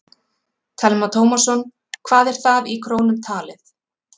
Telma Tómasson: Hvað er það í krónum talið?